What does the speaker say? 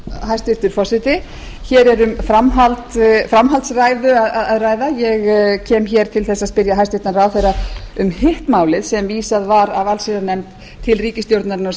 hæstvirtur forseti hér er um framhaldsræðu að ræða ég kem til að spyrja hæstvirtan ráðherra um hitt málið sem vísað var af allsherjarnefnd til ríkisstjórnarinnar á